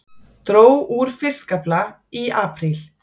Dró úr fiskafla í apríl